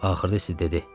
Axırda isə dedi: